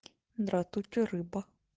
дратути рыба